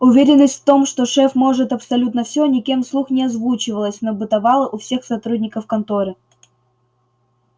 уверенность в том что шеф может абсолютно все никем вслух не озвучивалась но бытовала у всех сотрудников конторы